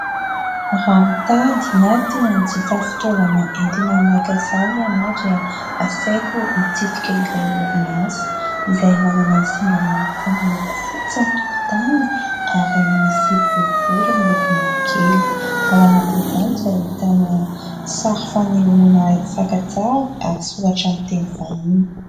Raha mitady na tia hanjifa fitaovana entina maka sary ianao dia asaiko hitsidika ilay orinasa izay manana singa marika miloko fotsy ny tokotaniny ary misy boribory miloko mavokely ; ao anatiny izany ka ahitana sary fanehoana fakantsary ary soratra amin'ny teny vahiny.